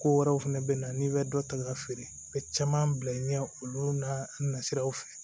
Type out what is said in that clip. Ko wɛrɛw fɛnɛ bɛ na n'i bɛ dɔ ta k'a feere u bɛ caman bila i ɲɛ olu nasiraw fɛ